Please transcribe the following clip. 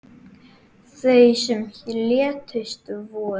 Þau sem létust voru